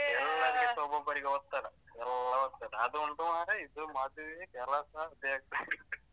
ಎಲ್ಲರಿಗೆ ಸ ಒಬ್ಬೊಬ್ಬರಿಗೆ ಒತ್ತಡ ಎಲ್ಲ ಒತ್ತಡ ಅದು ಉಂಟು ಮರ್ರೆ ಇದು ಮದುವೆ, ಕೆಲಸ ಅದೆ ಹೇಳ್ತಾರೆ .